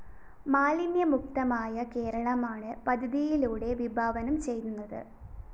മാലിന്യമുക്തമായ കേരളമാണ് പദ്ധതിയിലൂടെ വിഭാവനം ചെയ്യുന്നത്